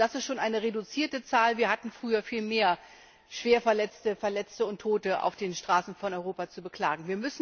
Und das ist schon eine reduzierte Zahl, wir hatten früher viel mehr Schwerverletzte, Verletzte und Tote auf den Straßen von Europa zu beklagen.